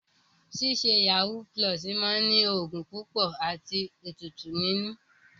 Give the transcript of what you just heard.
Ṣíṣe yàwúú pulọ̀ọ̀sì máa ní ògùn púpọ̀ àti ètùtù nínú.